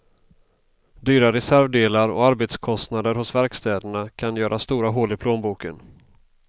Dyra reservdelar och arbetskostnader hos verkstäderna kan göra stora hål i plånboken.